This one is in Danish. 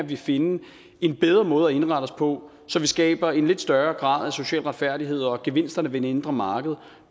kan finde en bedre måde at indrette os på så vi skaber en lidt større grad af social retfærdighed og så gevinsterne ved det indre marked